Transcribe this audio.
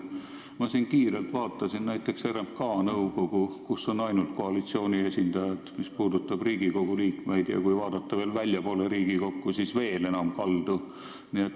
Ma vaatasin kiirelt näiteks RMK nõukogu, kus on ainult koalitsiooni esindajad, mis puudutab Riigikogu liikmeid, ja kui vaadata Riigikogust väljapoole, siis on see veel enam kaldu.